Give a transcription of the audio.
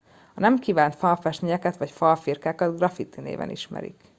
a nem kívánt falfestményeket vagy falfirkákat graffiti néven ismerik